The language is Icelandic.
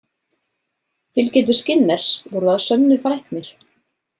Fylgjendur Skinners voru að sönnu fræknir.